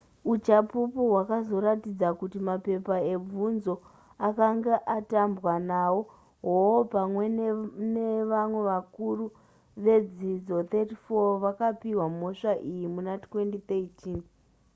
uchapupu hwakazoratidza kuti mapepa ebvunzo akange atambwa nawo hall pamwe nevamwe vakuru vedzidzo 34 vakapihwa mhosva iyi muna2013